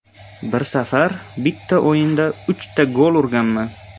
Bir safar bitta o‘yinda uchta gol urganman.